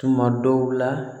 Tuma dɔw la